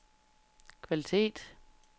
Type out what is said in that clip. kvalitet